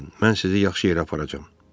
Qorxmayın, mən sizi yaxşı yerə aparacam.